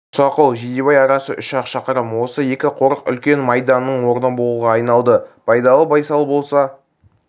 мұсақұл жидебай арасы үш-ақ шақырым осы екі қорық үлкен майданның орны болуға айналды байдалы байсал болса